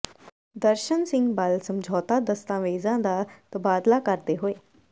ਦਰਸ਼ਨ ਸਿੰਘ ਬਲ ਸਮਝੌਤਾ ਦਸਤਾਵੇਜ਼ਾਂ ਦਾ ਤਬਾਦਲਾ ਕਰਦੇ ਹੋਏ